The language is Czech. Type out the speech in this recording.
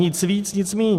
Nic víc, nic míň.